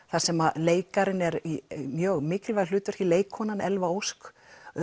þar sem leikarinn er í mjög mikilvægu hlutverki leikkonan Elva Ósk